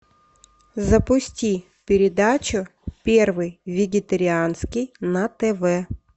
запусти передачу первый вегетарианский на тв